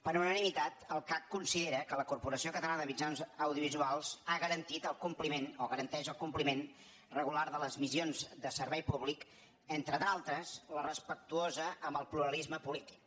per unanimitat el cac considera que la corporació catalana de mitjans audiovisuals ha garantit el compliment o garanteix el compliment regular de les missions de servei públic entre d’altres la respectuosa amb el pluralisme polític